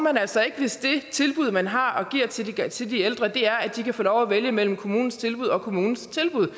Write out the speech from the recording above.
altså ikke hvis det tilbud man har og giver til de ældre er at de kan få lov at vælge mellem kommunens tilbud og kommunens tilbud